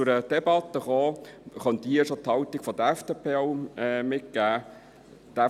Sollte es zu einer Debatte kommen, könnte ich hier schon die Haltung der FDP mitgeben: